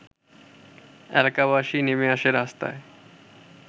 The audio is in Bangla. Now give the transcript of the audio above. এলাকাবাসী নেমে আসে রাস্তায়